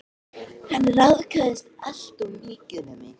Hann ráðskaðist alltof mikið með mig.